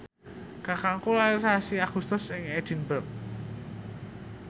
kakangku lair sasi Agustus ing Edinburgh